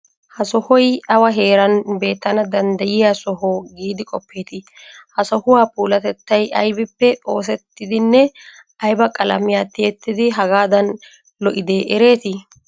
Ha sohoy awa heeran beettana danddayiya soho giidi qoppeetii? Ha sohuwa puulatettay aybippe oosettidinne ayba qalamiya tiyettidi hagaadan lo'idee ereetii?